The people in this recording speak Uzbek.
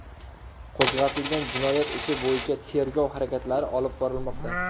Qo‘zg‘atilgan jinoyat ishi bo‘yicha tergov harakatlari olib borilmoqda.